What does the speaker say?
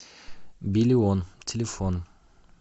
биллион телефон